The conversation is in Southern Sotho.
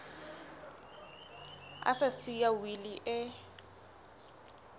a sa siya wili e